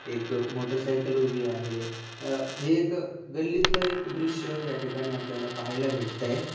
एक मोटरसायकल उभी आहे अ हे एक गल्लीतल एक दृश या ठिकाणी आपल्याला पाहायला भेटतय.